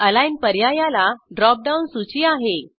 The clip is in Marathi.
अलिग्न पर्यायाला ड्रॉप डाऊन सूची आहे